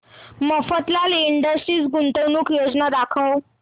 Mafatlal industries गुंतवणूक योजना दाखव